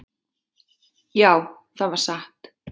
"""Já, það var satt."""